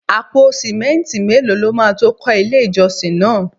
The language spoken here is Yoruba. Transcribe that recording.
Àpò simẹnti mélòó lọ ma tó kọ ilé ìjọsìn náà?